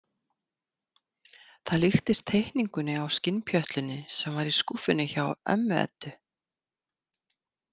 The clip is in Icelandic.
Það líktist teikningunni á skinnpjötlunni sem var í skúffunni hjá ömmu Eddu.